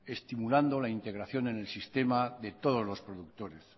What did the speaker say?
estimulando la integración en el sistema de todos los productores